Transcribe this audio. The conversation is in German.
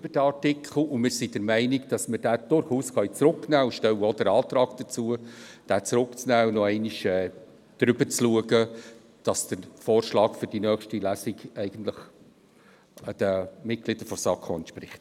Wir sind der Meinung, dass wir diesen durchaus zurücknehmen können und stellen entsprechend Antrag, diesen zurückzunehmen, um nochmals darüber zu gehen, damit der Vorschlag für die nächste Lesung denn auch der Haltung der SAK-Mitglieder entspricht.